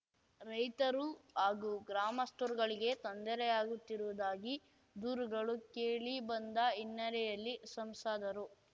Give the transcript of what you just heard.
ರೈತರು ಹಾಗೂ ಗ್ರಾಮಸ್ಥರುಗಳಿಗೆ ತೊಂದರೆಯಾಗುತ್ತಿರುವುದಾಗಿ ದೂರುಗಳು ಕೇಳಿ ಬಂದ ಹಿನ್ನೆಲೆಯಲ್ಲಿ ಸಂಸದರು